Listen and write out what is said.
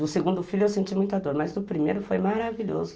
Do segundo filho eu senti muita dor, mas do primeiro foi maravilhoso.